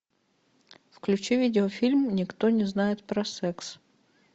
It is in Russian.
включи видеофильм никто не знает про секс